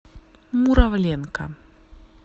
муравленко